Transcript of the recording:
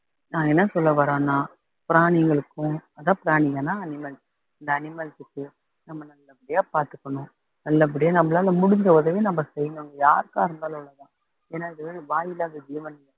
நான் என்ன சொல்ல வர்றேன்னா பிராணிகளுக்கும் அதா பிராணிகள்ன்னா animals இந்த animals க்கு நம்ம நல்லபடியா பாத்துக்கணும் நல்லபடியா நம்மளால முடிஞ்ச உதவியை நாம செய்யணும் யாருக்காக இருந்தாலும் அவ்வளவுதான் ஏன்னா இது வாயில்லாத ஜீவன்